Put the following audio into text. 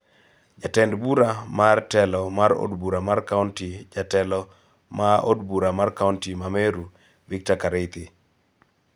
Jatend bura mar telo mar od bura mar kaonti, jatelo ma od bura mar kaonti ma Meru, Victor Kareithi